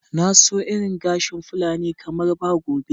Na so irin gashin fulani kamar ba gobe.